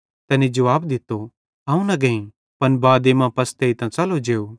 तैनी जुवाब दित्तो अवं न गेईं पन बादे मां पशतेइतां च़लो जेव